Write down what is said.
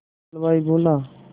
हलवाई बोला